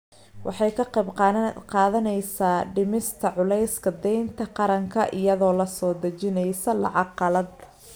Waxay ka qayb qaadanaysaa dhimista culayska deynta qaranka iyadoo la soo dejisanaysa lacag qalaad.